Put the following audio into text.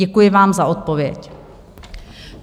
Děkuji vám za odpověď.